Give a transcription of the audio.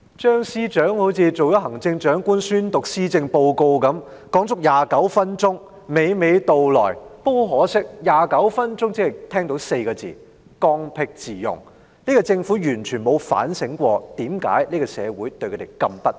張司長好像出任行政長官般宣讀施政報告，發言足足29分鐘，娓娓道來，但很可惜，從他29分鐘的發言，我聽到的只是"剛愎自用 "4 個字，政府完全沒有反省為何社會對他們如此不滿。